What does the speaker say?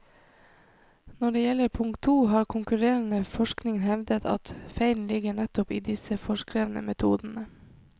Når det gjelder punkt to, har konkurrerende forskning hevdet at feilen ligger nettopp i disse foreskrevne metodene.